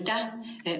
Aitäh!